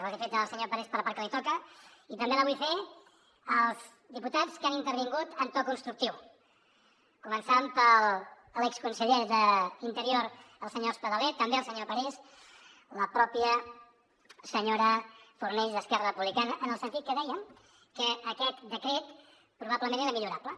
ho he fet al senyor parés per la part que li toca i també la vull fer als diputats que han intervingut en to constructiu començant per l’exconseller d’interior el senyor espadaler també el senyor parés la mateixa senyora fornells d’esquerra republicana en el sentit que deia que aquest decret probablement era millorable